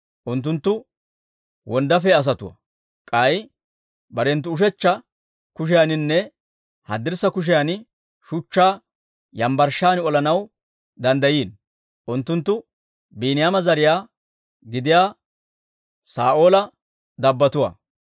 Unttunttu wonddaafiyaa asatuwaa; K'ay barenttu ushechcha kushiyaaninne haddirssa kushiyan shuchchaa yambbarshshan olanaw danddayiino. Unttunttu Biiniyaama zariyaa gidiyaa Saa'oola dabbotuwaa.